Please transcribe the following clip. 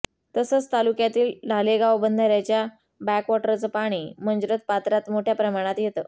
तसंच तालुक्यातील ढालेगाव बंधाऱ्याच्या बॅकवॉटरचं पाणी मंजरथ पात्रात मोठ्या प्रमाणात येतं